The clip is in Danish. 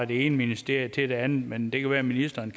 det ene ministerium til det andet men det kan være ministeren